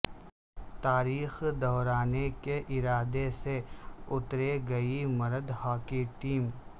تاریخ دہرانے کے ارادے سے اترے گی مرد ہاکی ٹیم